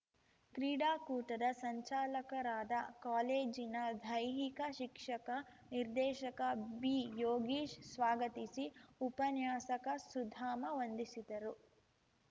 ಕ್ರೀಡಾಕೂಟದ ಸಂಚಾಲಕರಾದ ಕಾಲೇಜಿನ ದೈಹಿಕ ಶಿಕ್ಷಕ ನಿರ್ದೇಶಕ ಬಿಯೋಗೀಶ್‌ ಸ್ವಾಗತಿಸಿ ಉಪನ್ಯಾಸಕ ಸುಧಾಮ ವಂದಿಸಿದರು